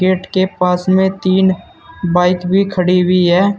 Gate के पास में तीन बाइक भी खड़ी हुई है।